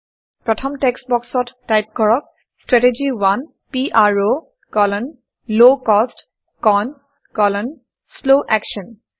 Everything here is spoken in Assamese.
প্ৰথম টেক্সট্ বক্সত টাইপ কৰক - strategy 1 PRO low cost CON slow action